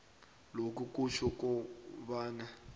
lokhu kutjho kobana